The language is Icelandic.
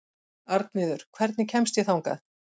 Arnviður, hvernig kemst ég þangað?